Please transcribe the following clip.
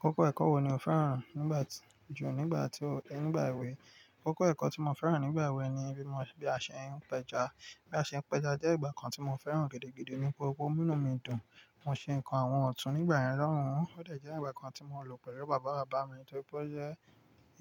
Kókó ẹ̀kọ́ wo ni o fẹ́ràn nígbà tí ju nígbà tí o-- nígbà èwe? Kókó ẹ̀kọ́ tí mo fẹ́ràn nígbà èwe ni bí mo ṣe bí a ṣe ń pẹja. Bí a ṣe ń pẹja jẹ́ igbà kan tí mo fẹ́ràn gidi gidi nítorí pé ó n mú nú mi dùn. Mo ṣe ǹkan àwọn ọ̀tún nígbà yen lọ̀hùn ó de je igbà kan tí mo lò pẹ̀lú bàbá bàbá mi nítorí pé ó jẹ́